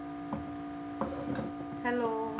hello